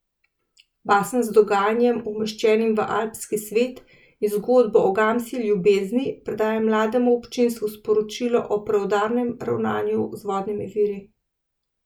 Basen z dogajanjem, umeščenim v alpski svet, in zgodbo o gamsji ljubezni predaja mlademu občinstvu sporočilo o preudarnem ravnanju z vodnimi viri.